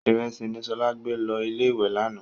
Ìrẹsì ni Ṣọlá gbé lọ ilé-ìwé lánàá.